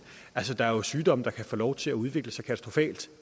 altså der er jo sygdomme der kan få lov til at udvikle sig katastrofalt